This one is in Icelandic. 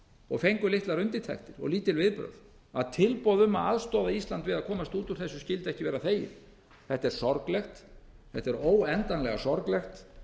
og fengu litlar undirtektir og lítil viðbrögð að tilboð um að aðstoða ísland við að komast út úr þessu skyldi ekki vera þegið þetta er sorglegt þetta er óendanlega sorglegt